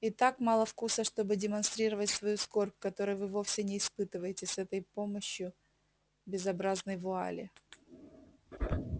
и так мало вкуса чтобы демонстрировать свою скорбь которой вы вовсе не испытываете с этой помощью безобразной вуали